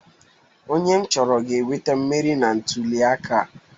Onye m chọrọ ga-enweta mmeri na ntụliaka a.